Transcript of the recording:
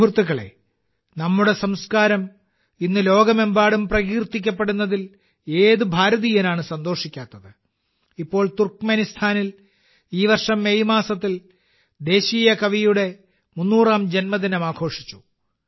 സുഹൃത്തുക്കളേ നമ്മുടെ സംസ്കാരം ഇന്ന് ലോകമെമ്പാടും പ്രകീർത്തിക്കപ്പെടുന്നതിൽ ഏത് ഭാരതീയനാണ് സന്തോഷിക്കാത്തത് ഇപ്പോൾ തുർക്ക്മെനിസ്ഥാനിൽ ഈ വർഷം മെയ് മാസത്തിൽ ദേശീയ കവിയുടെ 300 ാം ജന്മദിനം ആഘോഷിച്ചു